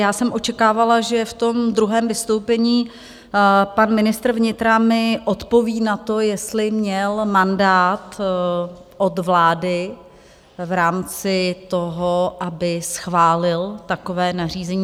Já jsem očekávala, že v tom druhém vystoupení pan ministr vnitra mi odpoví na to, jestli měl mandát od vlády v rámci toho, aby schválil takové nařízení.